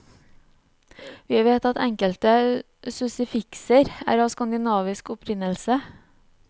Vi vet at enkelte suffikser er av skandinavisk opprinnelse.